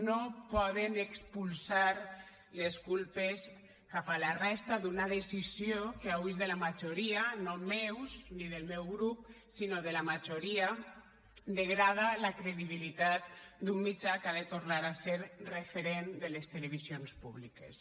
no poden expulsar les culpes cap a la resta d’una decisió que hui és de la majoria no meva ni del meu grup sinó de la majoria degrada la credibilitat d’un mitjà que ha de tornar a ser referent de les televisions públiques